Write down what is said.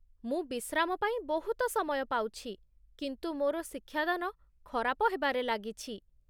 ମୁଁ ବିଶ୍ରାମ ପାଇଁ ବହୁତ ସମୟ ପାଉଛି, କିନ୍ତୁ ମୋର ଶିକ୍ଷାଦାନ ଖରାପ ହେବାରେ ଲାଗିଛି।